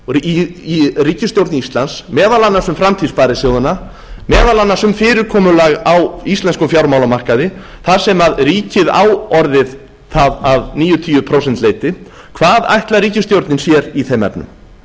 í ríkisstjórn íslands meðal annars um framtíð sparisjóðanna meðal annars um fyrirkomulag á íslenskum fjármálamarkaði þar sem ríkið á orðið það að níutíu prósent leyti hvað ætlar ríkisstjórnin sér í þeim efnum